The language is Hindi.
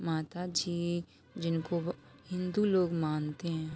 माता जी जिनको हिन्दु लोग मानते हैं।